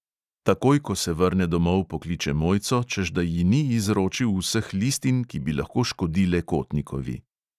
Takoj ko se vrne domov, pokliče mojco, češ da ji ni izročil vseh listin, ki bi lahko škodile kotnikovi.